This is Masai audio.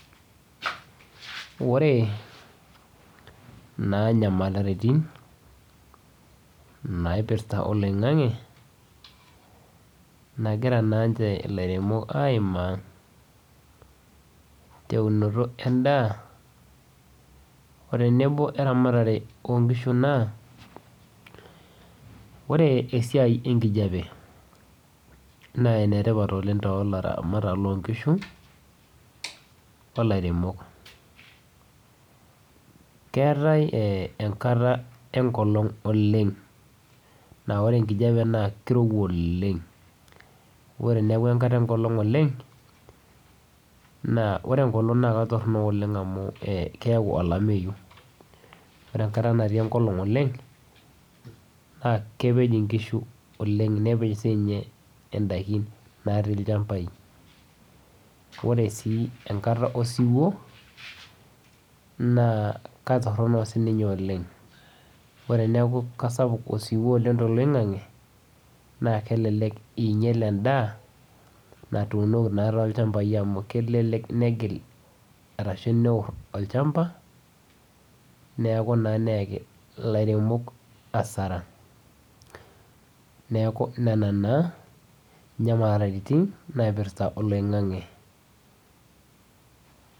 Wore naa inyamalaritin, naipirta oloingange, nakira naanche ilairemok aimaa teunoto endaa, otenebo eramatare oonkishu naa. Wore esiai enkijape naa enetipat oleng' toolaramatak loonkishu, olairemok. Keetae enkata enkolong' oleng', naa wore enkijape naa kirowua oleng'. Wore peaku enkata enkolong' oleng', naa wore enkolong' naa ketorono oleng' amu keyau olameyu, wore enkata natii enkolong' oleng', naa kepej inkishu oleng', nepej siinche indaikin natii ilchambai. Wore sii enkata osiwuo, naa kaitorono sininye oleng'. Wore eneeku kesapuk osiwuo oleng' toloingange, naa kelelek iinyial endaa, naatuunoki naa tolchambai amu kelelek negil, arashu neor olchamba, neeku naa neeki ilairemok hasara. Neeku niana naa, inyamalaritin naipirta oloingange.